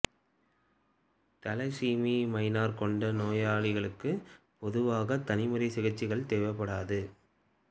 thalassemia minor கொண்ட நோயாளிகளுக்கு பொதுவாக தனிமுறை சிகிச்சைகள் தேவைப்படாது